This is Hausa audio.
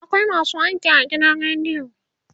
akwai masu aiki a gidan radio